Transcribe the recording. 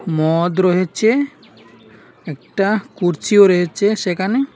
মদ রয়েছে একটা কুরচিও রয়েছে সেখানে।